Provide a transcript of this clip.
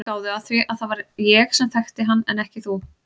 Gáðu að því að það var ég sem þekkti hann en ekki þú.